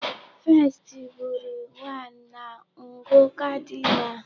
1st bụrụ 1 na ngụ cardinal.